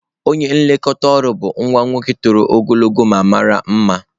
Onye nlekọta ọrụ bụ nwa nwoke toro ogologo ma mara mma.